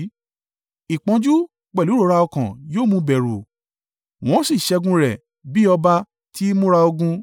Ìpọ́njú pẹ̀lú ìrora ọkàn yóò mú un bẹ̀rù, wọ́n ó sì ṣẹ́gun rẹ̀ bi ọba ti ìmúra ogun.